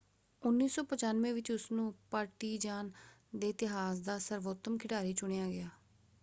1995 ਵਿੱਚ ਉਸਨੂੰ ਪਾਰਟੀਜ਼ਾਨ ਦੇ ਇਤਿਹਾਸ ਦਾ ਸਰਵੋਤਮ ਖਿਡਾਰੀ ਚੁਣਿਆ ਗਿਆ।